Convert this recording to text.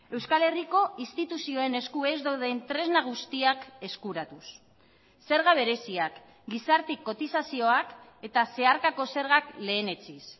euskal herriko instituzioen esku ez dauden tresna guztiak eskuratuz zerga bereziak gizarte kotizazioak eta zeharkako zergak lehenetsiz